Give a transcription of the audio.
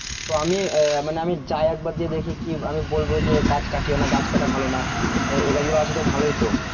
আমি আহ মানে আমি যাই একবার গিয়ে দেখি কি আমি বলবো যে গাছ কেটো না গাছ কাটা ভালো না এই গাছগুলো আছে তো ভালোই ত